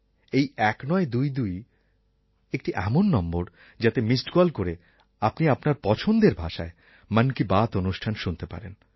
এই ১৯২২ একটি এমন নম্বর যাতে মিস্ড কল করে আপনি আপনার পছন্দের ভাষায় মন কি বাত অনুষ্ঠান শুনতে পারেন